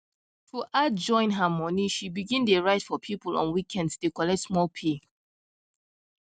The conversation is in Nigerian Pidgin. to add join her money she begin dey write for people on weekends dey collect small pay